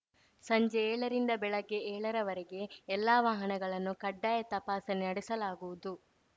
ಸಂಜೆ ಏಳರಿಂದ ಬೆಳಗ್ಗೆ ಏಳರವರೆಗೆ ಎಲ್ಲಾ ವಾಹನಗಳನ್ನು ಕಡ್ಡಾಯ ತಪಾಸಣೆ ನಡೆಸಲಾಗುವುದು